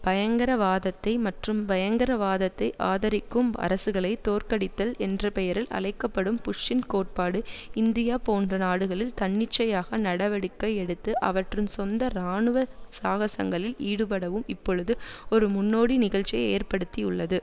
பயங்கர வாதத்தை மற்றும் பயங்கரவாதத்தை ஆதரிக்கும் அரசுகளை தோற்கடித்தல் என்ற பெயரில் அழைக்க படும் புஷ்ஷின் கோட்பாடு இந்தியா போன்ற நாடுகளில் தன்னிச்சையாக நடவடிக்கை எடுத்து அவற்றின் சொந்த இராணுவ சாகசங்களில் ஈடுபடவும் இப்பொழுது ஒரு முன்னோடி நிகழ்ச்சியை ஏற்படுத்திஉள்ளது